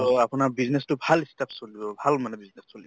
আপোনাৰ business তো ভাল চলিব ভাল মানে business চলিব